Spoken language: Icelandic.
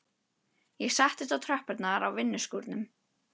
Ég settist á tröppurnar á vinnuskúrnum.